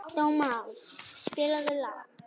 Dómald, spilaðu lag.